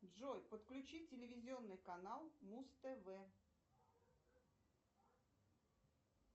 джой подключи телевизионный канал муз тв